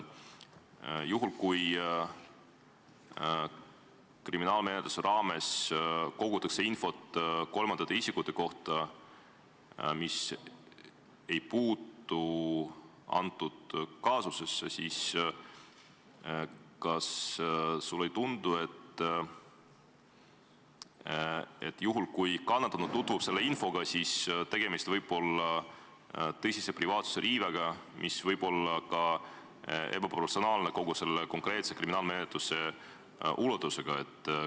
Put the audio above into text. Juhul kui kriminaalmenetluse raames kogutakse infot kolmandate isikute kohta, mis ei puutu konkreetsesse kaasusesse, ja kannatanu tutvub selle infoga, siis on tegemist tõsise privaatsuse riivega, mis võib olla ka ebaprofessionaalne kogu selle menetluse ulatuse suhtes?